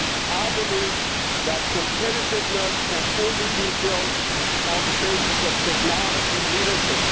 I believe that competitiveness can only be built on the basis of technology leadership.